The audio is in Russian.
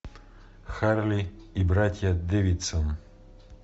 харли и братья дэвидсон